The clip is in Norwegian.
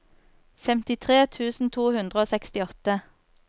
femtitre tusen to hundre og sekstiåtte